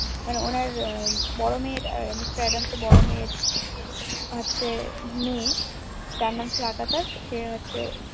মানে ওনার বোরো মেয়ের মিস্টার এডামস এর বোরো মেয়ের হচ্ছে মেয়ে